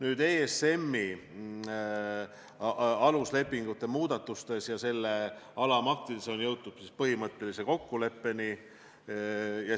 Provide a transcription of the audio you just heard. ESM-i aluslepingute muudatustes ja selle alamaktides on jõutud põhimõttelisele kokkuleppele.